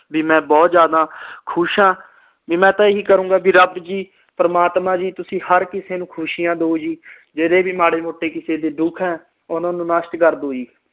ਵੀ ਮੈਂ ਬਹੁਤ ਜ਼ਿਆਦਾ ਖੁਸ਼ ਆ ਮੈਂ ਤਾ ਇਹੀ ਕਹੂਗਾ ਰੱਬ ਜੀ ਪ੍ਰਮਾਤਮਾ ਜੀ ਤੁਸੀ ਹਰ ਕਿਸੇ ਨੂੰ ਖੁਸੀਆ ਦੋ ਜੀ ਜਿਹੜੇ ਵੀ ਮਾੜੇ ਮੋਟੇ ਕਿਸੇ ਦੇ ਦੁੱਖ ਆ ਓਹਨਾ ਨੂੰ ਨਸਟ ਕਰਦੋ ਜੀ